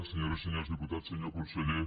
senyores i senyors diputats senyor conseller